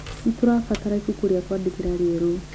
Nĩtũrabatara ibuku ria kwandĩkĩra rieru